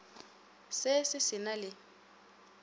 se se se na le